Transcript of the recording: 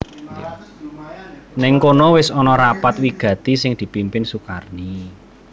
Nèng kono wis ana rapat wigati sing dipimpin Sukarni